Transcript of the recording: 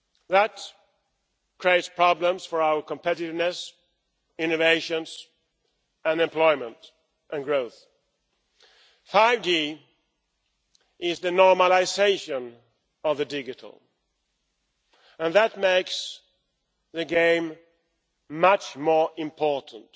That creates problems for our competitiveness, innovation, unemployment and growth. 5G is the normalisation of the digital, and that makes the game much more important,